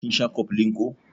Kin sha cofflin ko?